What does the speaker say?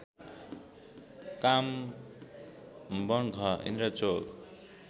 काम वंघः इन्द्रचोक